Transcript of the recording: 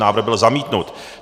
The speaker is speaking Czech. Návrh byl zamítnut.